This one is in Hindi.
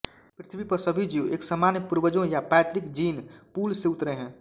पृथ्वी पर सभी जीव एक सामान्य पूर्वजों या पैतृक जीन पूल से उतरे हैं